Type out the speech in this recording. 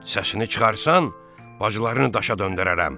Səsini çıxarsan, bacılarımı daşa döndərərəm.